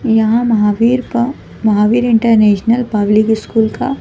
यहां महावीर का Mahavir international public school का--